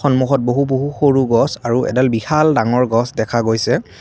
সন্মুখত বহু বহু সৰু গছ আৰু এডাল বিশাল ডাঙৰ গছ দেখা গৈছে।